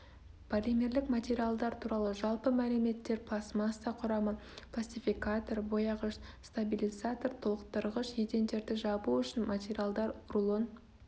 полимерлік материалдар туралы жалпы мәліметтер пластмасса құрамы пластификатор бояғыш стабилизатор толықтырғыш едендерді жабу үшін материалдар рулон